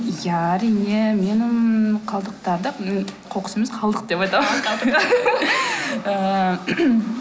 иә әрине менің қалдықтарды м қоқыс емес қалдық деп айтамын ыыы